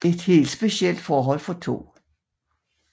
Et helt specielt forhold for 2